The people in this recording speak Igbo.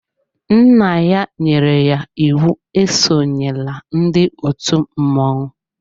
Nna ya nyere ya íwú e sonyela ndị òtù mmọnwụ.